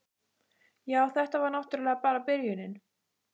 Já, þetta var náttúrlega bara byrjunin.